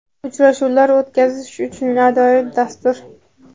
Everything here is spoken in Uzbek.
uchrashuvlar o‘tkazish uchun ajoyib dastur.